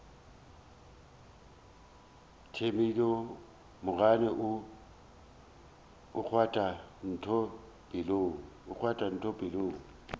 thedimogane o kgwatha ntho pelong